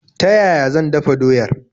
Ta yaya zan dafa doyar?